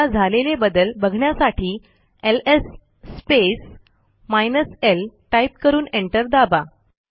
आता झालेले बदल बघण्यासाठी LS space hyphen L type करून एंटर दाबा